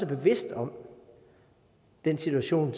bevidst om den situation